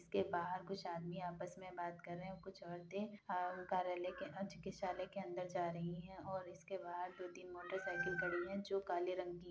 इसके बाहर कुछ आदमी आपस में बात कर रहे हैं। कुछ औरतें कार्यालय के चिकित्सालय के अंदर जा रही हैं और इसके बाद दो-तीन मोटरसाइकिल खड़ी हैं जो काले रंग की --